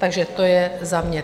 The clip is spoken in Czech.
Takže to je za mě.